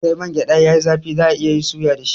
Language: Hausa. Sai mangyada yayi zafi za'a iya suya dashi